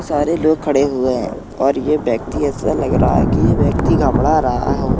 सारे लोग खड़े हुएँ हैं और ये ब्यक्ति ऐसा लग रहा है कि ये व्यक्ति घबड़ा रहा हो।